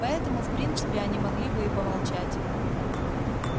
поэтому в принципе они могли бы и молчать